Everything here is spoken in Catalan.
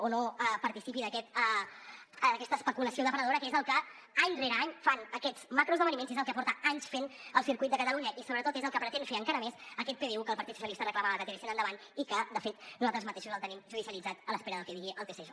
o no participi d’aquesta especulació depredadora que és el que any rere any fan aquests macroesdeveniments i és el que porta anys fent el circuit de catalunya i sobretot és el que pretén fer encara més aquest pdu que el partit socialistes reclamava que tiréssim endavant i que de fet nosaltres mateixos el tenim judicialitzat a l’espera del que digui el tsj